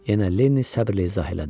Yenə Lenni səbrlə izah elədi.